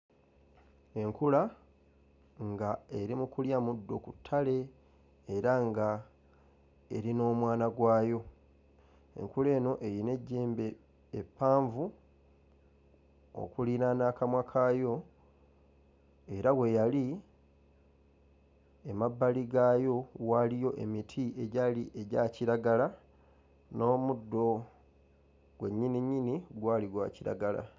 Enkula nga eri mu kulya muddo ku ttale era nga eri n'omwana gwayo, enkula eno eyina ejjembe eppanvu okuliraana akamwa kaayo era we yali emabbali gaayo waaliyo emiti egyali egya kiragala n'omuddo gwe nnyininyini gwali gwa kiragala.